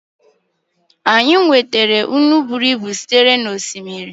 Anyị nwetara otu nnu si n'oké osimiri.